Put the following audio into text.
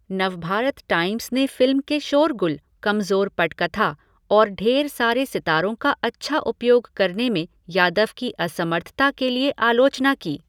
Navbharat Times ने film के शोरगुल, कमज़ोर पटकथा और ढेर सारे सितारों का अच्छा उपयोग करने में यादव की असमर्थता के लिए आलोचना की।